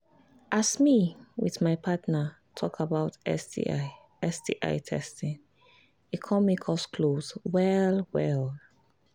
as me with my partner talk about sti sti testing e come make us close well well